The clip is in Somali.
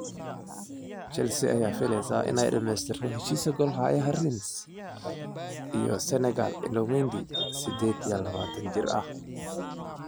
Chelsea ayaa filaysa inay dhamaystirto heshiiska goolhayaha Rennes iyo Senegal Edouard Mendy, sideed iyo labatan jir ah.